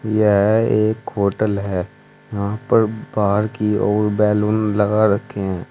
यह एक होटल है यहां पर बाहर की ओर बैलून लगा रखे हैं।